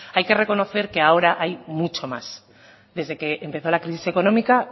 hay que reconocer que ahora hay mucho más desde que empezó la crisis económica